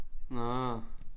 Nåh